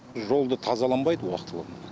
жолды тазаланбайды уақытылы